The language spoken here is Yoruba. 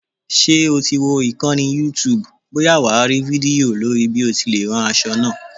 Ṣé o ti wo ìkànnì youtube bóyá wà á rí fídíò lórí bí o ti lè rán aṣọ náà?